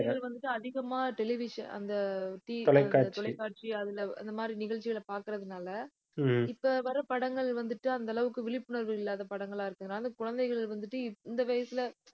மக்கள் வந்துட்டு அதிகமா television அந்த TV தொலைக்காட்சி அதுல அந்த மாதிரி நிகழ்ச்சிகளை பார்க்கிறதுனால இப்ப வர படங்கள் வந்துட்டு, அந்த அளவுக்கு விழிப்புணர்வு இல்லாத படங்களா இருக்கிறதுனால குழந்தைகள் வந்துட்டு, இந்த வயசுல